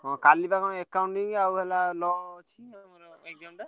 ହଁ କାଲିବା କଣ accounting ଆଉ ହେଲା